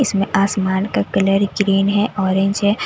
इसमें आसमान का कलर ग्रीन है ऑरेंज है--